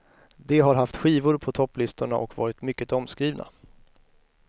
De har haft skivor på topplistorna och varit mycket omskrivna.